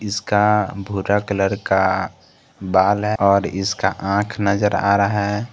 इसका भूरा कलर का बाल है और इसका आंख नजर आ रहा है।